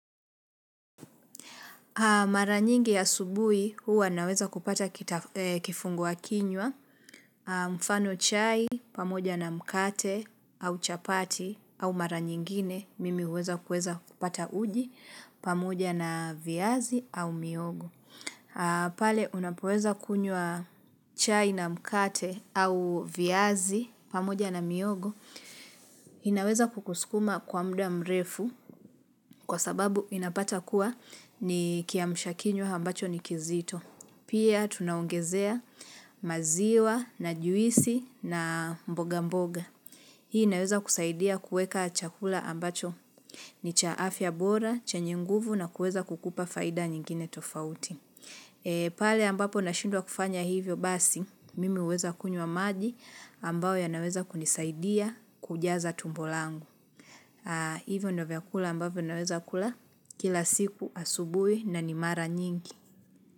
Mara nyingi asubuhi huwa naweza kupata kifunguwa kinywa mfano chai pamoja na mkate au chapati au mara nyingine mimi huweza kuweza kupata uji pamoja na viazi au mihogo. Pale unapoweza kunywa chai na mkate au viazi pamoja na miogo inaweza kukuskuma kwa muda mrefu kwa sababu inapata kuwa ni kiamsha kinywa ambacho ni kizito pia tunaongezea maziwa na juisi na mboga mboga hii inaweza kusaidia kueka chakula ambacho ni cha afya bora, chenye nguvu na kueza kukupa faida nyingine tofauti pale ambapo na shindwa kufanya hivyo basi mimi huweza kunywa maji ambayo yanaweza kunisaidia kujaza tumbo langu hivyo ndo vyakula ambavyo naweza kula kila siku asubuhi na ni mara nyingi.